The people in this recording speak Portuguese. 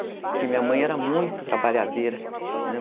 Porque minha mãe era muito trabalhadeira, né?